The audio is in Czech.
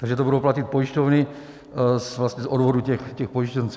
Takže to budou platit pojišťovny z odvodů těch pojištěnců.